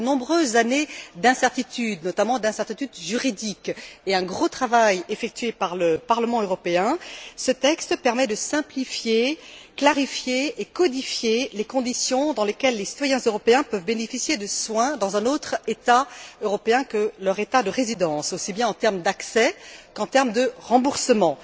Après de nombreuses années d'incertitudes, notamment d'incertitudes juridiques, et un gros travail effectué par le Parlement européen, ce texte permet de simplifier, clarifier et codifier les conditions dans lesquelles les citoyens européens peuvent bénéficier de soins dans un autre État européen que leur État de résidence, aussi bien en termes d'accès qu'en termes de remboursement.